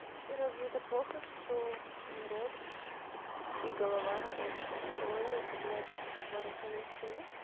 разве это плохо что и рот и голова рабочая по-моему это блять в два раза лучше нет